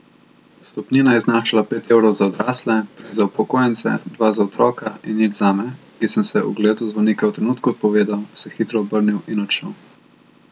Vstopnina je znašala pet evrov za odrasle, tri za upokojence, dva za otroke in nič zame, ki sem se ogledu zvonika v trenutku odpovedal, se hitro obrnil in odšel.